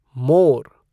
मोर